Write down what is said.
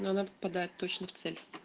но она попадает точно в цель